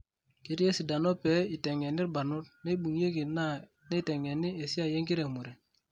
Ketii esidano pee itengeni irbanot neibungieki na neitengeni esiai enkiremore.